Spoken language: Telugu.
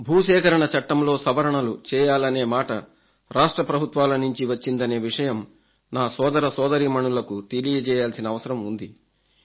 భూసేకరణ చట్టంలో సవరణలు చేయాలనే మాట రాష్ట్ర ప్రభుత్వాల నుంచి వచ్చిందనే విషయం నా సోదరసోదరీమణులకు తెలియజేయాల్సిన అవసరం ఉంది